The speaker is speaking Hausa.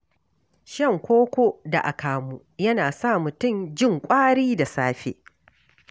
Shan koko da akamu yana sa mutum jin ƙwari da safe.